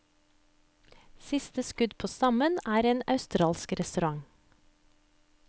Siste skudd på stammen er en australsk restaurant.